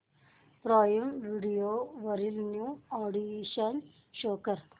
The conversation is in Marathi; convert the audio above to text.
प्राईम व्हिडिओ वरील न्यू अॅडीशन्स शो कर